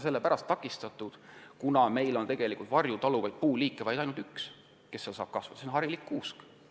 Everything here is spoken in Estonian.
See on takistatud sellepärast, et meil on varju taluvaid puuliike – neid, kes varjus kasvada saavad – ainult üks, see on harilik kuusk.